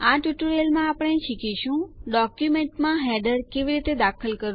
આ ટ્યુટોરિયલમાં આપણે શીખીશું ડોક્યુંમેન્ટોમાં હેડરો કેવી રીતે દાખલ કરવા